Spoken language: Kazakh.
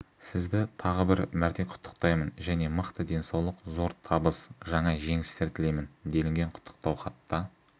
сізді тағы бір мәрте құттықтаймын және мықты денсаулық зор табыс жаңа жеңістер тілеймін делінген құттықтау хатта